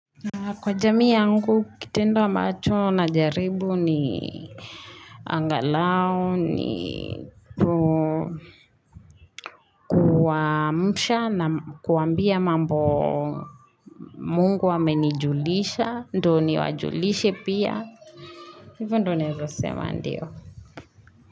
Na kwa jamii yangu kitendo ambacho na jaribu ni angalau ni na kuambia mambo Mungu amenijulisha ndo niwajulishe pia Hivo ndo naeza sema ndio.